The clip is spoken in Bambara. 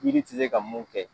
Yiri tɛ se ka mun kɛ.